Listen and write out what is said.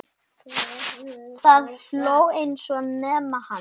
Það hló enginn nema hann.